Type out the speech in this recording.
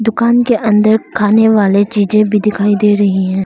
दुकान के अंदर खाने वाले चीजे भी दिखाई दे रही हैं।